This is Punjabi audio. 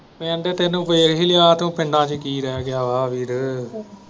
ਪਿੰਡ ਤੈਨੂੰ ਵੇਖ ਹੀ ਲਿਆ ਤੂੰ ਪਿੰਡਾਂ ਚ ਕੀ ਰਹਿ ਗਿਆ ਹੈ ਵੀਰੇ।